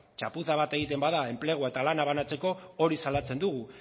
txapuza bat egiten bada enplegua eta lana banatzeko hori salatzen dugu